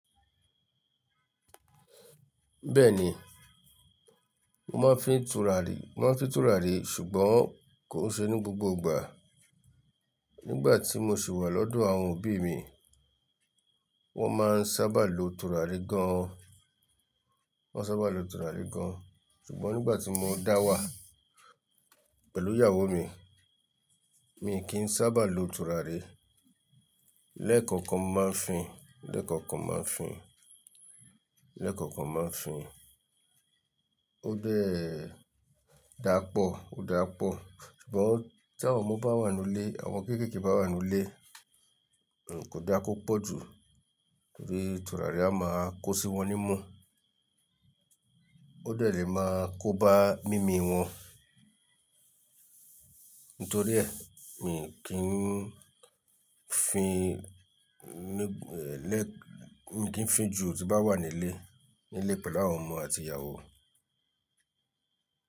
Bẹ́ẹ̀ni, mo máa ń fi tùràrí, mo máa ń fi tùràrí ṣùgbọ́n kò ṣe ní gbogbo ìgbà. Nígbà tí mo sì wà lọ́dọ̀ àwọn òbí mi, wọ́n máa ń sábà lo tùràrí gan an, wọ́n sábà lo tùràrí gan an. Ṣùgbọ́n nígbà tí mo dá wà pẹ̀lú ìyàwó mi, mi kì í sábà lo tùràrí. Lẹ́ẹ̀kọ̀kan máa ń fín, lẹ́ẹ̀kọ̀kan máa ń fín, lẹ́ẹ̀kọ̀kan máa ń fín. Ó dẹ dà pọ̀, ó dà pọ̀. Ṣùgbọ́n tí àwọn ọmọ bá wà nínú ilé, àwọn omo kéékèèké bá wà nínú ilé, kò dá kó pọ̀ jù, torí tùràrí a máa kó sí wọn nímú. Ó dẹ̀ le máa kó bá mimi wọn. Nítorí ẹ, mi kì í fín ní-- lẹ́-- mi kì í fín jù tí bá wà ní ilé, ní ilé pẹ̀lú àwọn ọmọ àti ìyàwó.